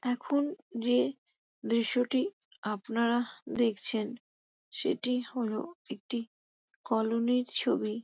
এখন যে দৃশ্যটি আপানারা দেখছেন সেটি হলো একটি কলোনী -র ছবি।